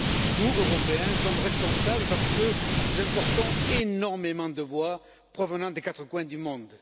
Nous, Européens, sommes responsables parce que nous importons énormément de bois provenant des quatre coins du monde.